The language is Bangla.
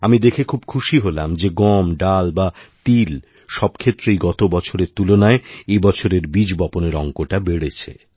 আমি দেখে খুব খুশি হলাম যে গম ডাল বা তিল সবক্ষেত্রেই গতবছরের তুলনায় এবছরেরবীজ বপণের অঙ্কটা বেড়েছে